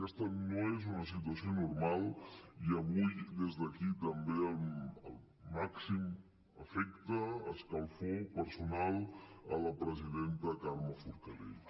aquesta no és una situació normal i avui des d’aquí també el màxim afecte escalfor personal a la presidenta carme forcadell